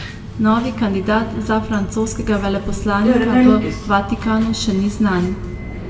Novi kandidat za francoskega veleposlanika v Vatikanu še ni znan.